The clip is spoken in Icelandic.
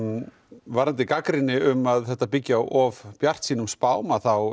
varðandi gagnrýni um að þetta byggi á of bjartsýnum spám þá